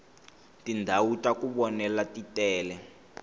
tindhawu taku vonela titele